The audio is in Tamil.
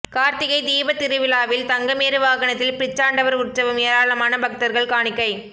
கார்த்திகை தீபத்திருவிழாவில் தங்கமேரு வாகனத்தில் பிச்சாண்டவர் உற்சவம் ஏராளமான பக்தர்கள் காணிக்கை